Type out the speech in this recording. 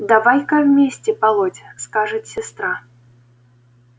давай-ка вместе полоть скажет сестра